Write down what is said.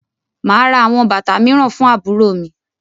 Màá ra àwọn bàtà mìíràn fún àbúrò mi.